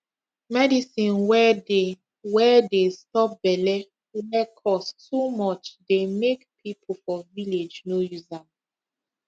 medicine wey dey wey dey stop belle wey cost too much dey make people for village no use am